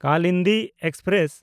Kalindi express